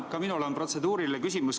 Ka minul on protseduuriline küsimus.